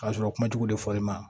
K'a sɔrɔ kuma jugu de fɔlen ma